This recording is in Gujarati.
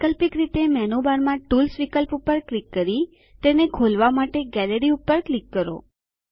વૈકલ્પિક રીતે મેનૂબારમાં ટૂલ્સ વિકલ્પ પર ક્લિક કરી તેને ખોલવા માટે ગેલેરી પર ક્લિક કરો